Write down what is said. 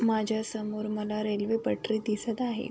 माझ्यासमोर मला रेल्वेपटरी दिसत आहे.